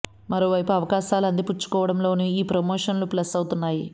మరోవైపు అవకాశాలు అందిపుచ్చుకోవడం లోనూ ఈ ప్రమోషన్స్ ప్లస్ అవుతున్నాయి